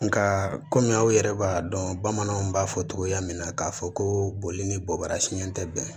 Nka kɔmi aw yɛrɛ b'a dɔn bamananw b'a fɔ togoya min na k'a fɔ ko boli ni bɔbara siɲɛ tɛ bɛn